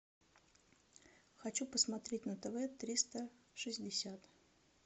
хочу посмотреть на тв триста шестьдесят